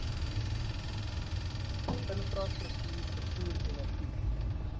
infrastruktuur vervoer energie